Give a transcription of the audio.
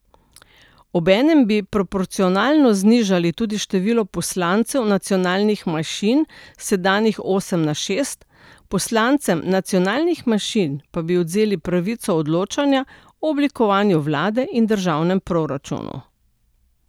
Obenem bi proporcionalno znižali tudi število poslancev nacionalnih manjšin s sedanjih osem na šest, poslancem nacionalnih manjšin pa bi odvzeli pravico odločanja o oblikovanju vlade in državnem proračunu.